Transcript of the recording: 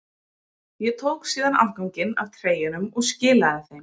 Ég tók síðan afganginn af treyjunum og skilaði þeim.